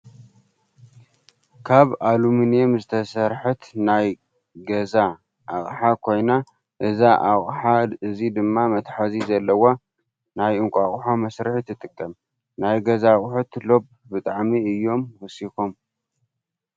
ካብ ኣሉሙኒም ዝተሰርሐት ናየ ገኣ ኣቅሓ ኮይና እዛ ኣቅሓ እዚ ድማ መትሓዚ ዘለዋ ናይ እንቋቆሖ መስርሒ ትጠቅም። ናይ ገዛ ኣቁሑት ሎብ ብጣዕሚ እዮም ወሲኮም።